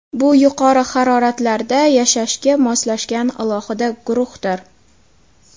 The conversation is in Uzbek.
Bu yuqori haroratlarda yashashga moslashgan alohida guruhdir.